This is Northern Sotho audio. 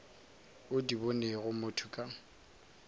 o di bonego motho ka